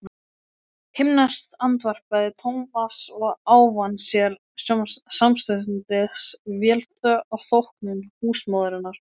Himneskt andvarpaði Thomas og ávann sér samstundis velþóknun húsmóðurinnar.